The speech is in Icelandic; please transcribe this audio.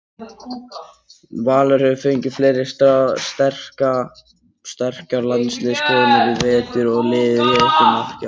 Valur hefur fengið fleiri sterkar landsliðskonur í vetur og liðið setur markið hátt í sumar.